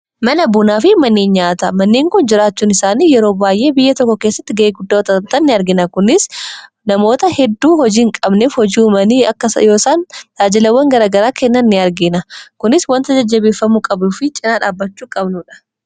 mana bunaa fi mannii nyaata manneen kun jiraachuun isaanii yeroo baay'ee biyya tokko keessatti ga'ee guddaotta ni argina kunis namoota hedduu hojiiin qabnef hojii manii akkasa yoosan daajilawwan garagaraa kennan ni argina kunis wanta jajjabeeffamu qabu fi cinaa dhaabachuu qabnuudha